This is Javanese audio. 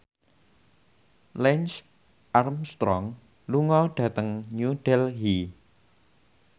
Lance Armstrong lunga dhateng New Delhi